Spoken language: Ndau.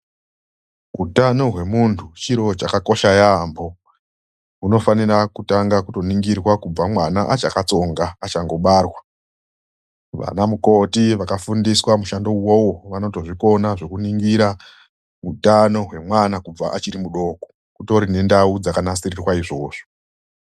Hutano hwemuntu chiro chakakosha yaambo unofanira kutanga kuningirwa kubva mwana achakatsonga achangobarwa. Vana mukoti vakafundiswa mushando uwowo vanotozvikona zvekunongira utano hwemwana kubva achiri mudoko, kutori nendau dzakanasirirwa izvozvo.